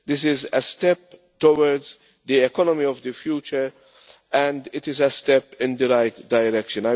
This is a step towards the economy of the future and it is a step in the right direction.